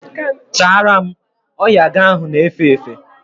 Chara m! Oya gị ahụ na efe efe!